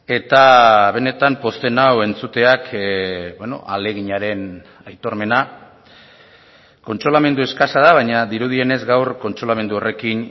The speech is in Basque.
eta benetan pozten nau entzuteak ahaleginaren aitormena kontsolamendu eskasa da baina dirudienez gaur kontsolamendu horrekin